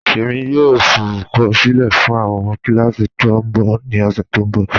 Ẹ̀mi yòò fọrùkọ̀sílẹ̀ fún awọn kílàsí̀ trombone ni ọṣẹ̀ tó nbọ̀.